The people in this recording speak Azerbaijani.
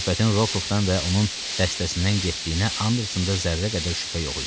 Söhbətin Rokovdan və onun dəstəsindən getdiyinə Andersona zərrə qədər şübhə yox idi.